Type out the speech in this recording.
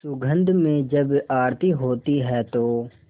सुगंध में जब आरती होती है तो